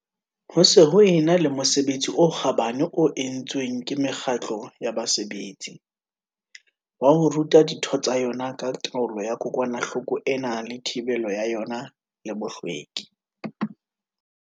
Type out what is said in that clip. Ho se ho e na le mosebetsi o kgabane o entsweng ke mekgatlo ya basebetsi, wa ho ruta ditho tsa yona ka taolo ya kokwanahloko ena le thibelo ya yona le bohlweki.